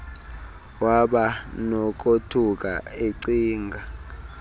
waba nokothuka ecinga